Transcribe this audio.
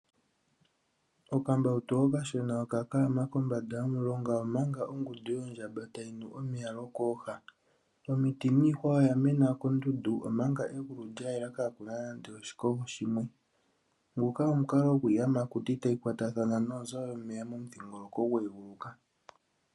Okambautu okashona oka kaama kombanda yomulonga, omanga oshigunda yondjamba tayi nu omeya lwokooha. Omiti niihwa oya mena kondundu omanga egulu lya yela kaa ku na nande oshikogo shimwe. Nguka omukalo gwiiyamakuti tayi kwatathana noonzo dhomeya momudhingoloko gwe eguluka.